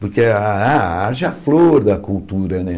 Porque a a a a arte é a flor da cultura, né?